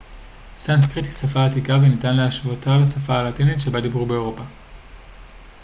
סנסקריט היא שפה עתיקה וניתן להשוותה לשפה הלטינית שבה דיברו באירופה